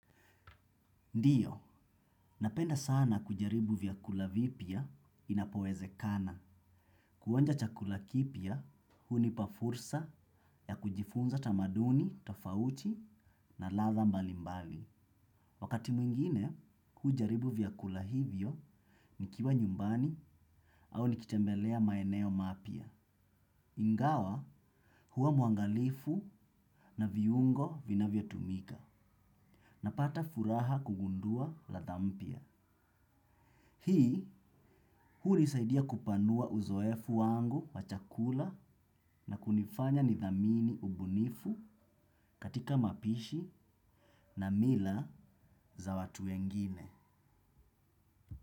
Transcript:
Ndiyo, napenda sana kujaribu vyakula vipya inapowezekana. Kuonja chakula kipya, hunipa fursa ya kujifunza tamaduni, tofauti na ladha mbalimbali. Wakati mwingine, hujaribu vyakula hivyo nikiwa nyumbani au nikitembelea maeneo mapya. Ingawa huwa mwangalifu na viungo vinavyotumika. Napata furaha kugundua ladha mpya. Hii hunisaidia kupanua uzoefu wangu wa chakula na kunifanya nidhamini ubunifu katika mapishi na mila za watu wengine.